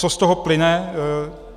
Co z toho plyne?